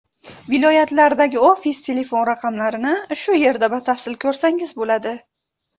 Viloyatlardagi ofis telefon raqamlarini shu yerda batafsil ko‘rsangiz bo‘ladi.